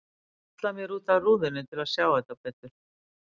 Ég halla mér út að rúðunni til að sjá þá betur.